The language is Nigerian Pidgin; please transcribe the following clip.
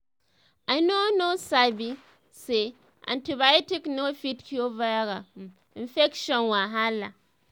i no know sabi say um antibiotic no fit cure viral um infection wahala.